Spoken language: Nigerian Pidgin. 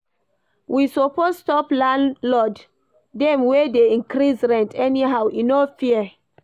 We suppose stop landlord dem wey dey increase rent anyhow, e no fair.